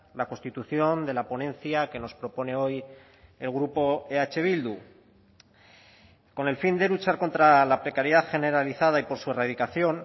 la constitución de la ponencia que nos propone hoy el grupo eh bildu con el fin de luchar contra la precariedad generalizada y por su erradicación